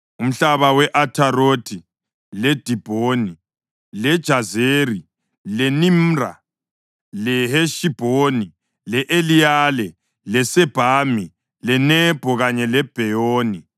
“Umhlaba we-Atharothi, leDibhoni, leJazeri, leNimra, leHeshibhoni, le-Eliyale, leSebhami, leNebho kanye leBheyoni,